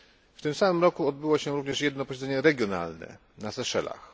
W tym samym roku odbyło się również jedno posiedzenie regionalne na Seszelach.